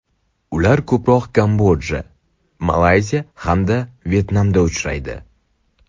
Ular ko‘proq Kamboja, Malayziya hamda Vyetnamda uchraydi.